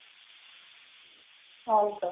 हाव का?